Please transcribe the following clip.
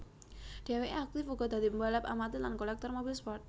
Dheweké aktif uga dadi pembalap amatir lan kolektor mobil sport